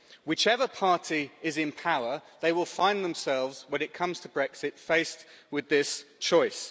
Whichever party is in power, they will find themselves when it comes to Brexit faced with this choice.